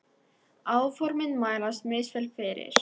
Áformin mælast misvel fyrir.